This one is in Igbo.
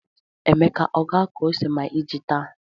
Emeka ọ ga-akụ ose ma iji táá?